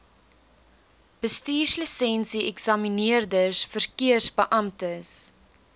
bestuurslisensie eksamineerders verkeersbeamptes